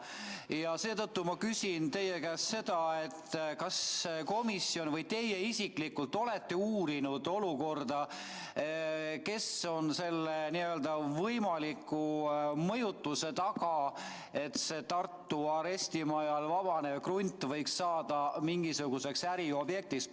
Ja seetõttu ma küsin teie käest, kas komisjon või teie isiklikult olete uurinud, kes on selle võimaliku mõjutuse taga, et Tartu arestimaja vabanev krunt võiks saada mingisuguseks äriobjektiks.